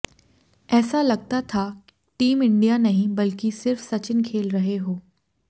ऐसा लगता था टीम इंडिया नहीं बल्कि सिर्फ सचिन खेल रहे हो